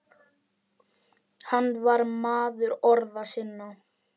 Hann var maður orða sinna.